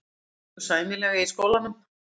Mér gengur sæmilega í skólanum.